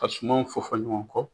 Ka sumanw fɔ fɔ ɲɔgɔn kɔ